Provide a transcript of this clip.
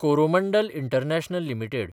Coromandel international limited